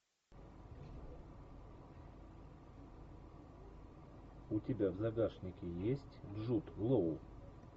у тебя в загашнике есть джуд лоу